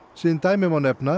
sem dæmi má nefna